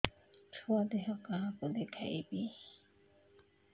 ଛୁଆ ଦେହ କାହାକୁ ଦେଖେଇବି